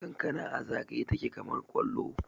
kankana a zagaye take kamar kwallo